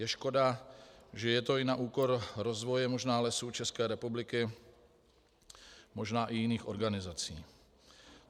Je škoda, že je to i na úkor rozvoje možná Lesů České republiky, možná i jiných organizací.